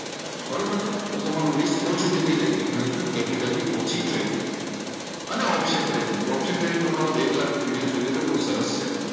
બરોબર છે તો તમારો રિસ્ક ઓછો પણ થઈ જાય ઘણીવાર કેપિટલ થી ઓછી જોઈએ તને ઓપ્શન ટ્રેડિંગ તો ઓપ્શન ટ્રેડિંગ મળશે મારો બે કલાકનો વિડીયો જોઈ લેજો બહુ સરસ છે.